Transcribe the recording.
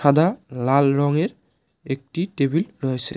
দা লাল রঙের একটি টেবিল রয়েছে।